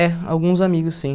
É, alguns amigos, sim.